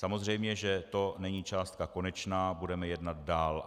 Samozřejmě že to není částka konečná, budeme jednat dál.